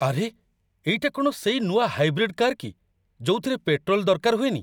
ଆରେ! ଏଇଟା କ'ଣ ସେଇ ନୂଆ ହାଇବ୍ରିଡ୍ କାର୍ କି ଯୋଉଥିରେ ପେଟ୍ରୋଲ୍ ଦରକାର ହୁଏନି ?